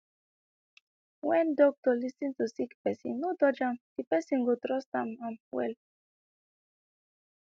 when doctor lis ten to sick pesin no judge am de person go trust am am well